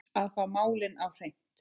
Að fá málin á hreint